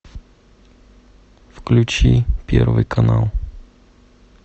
включи первый канал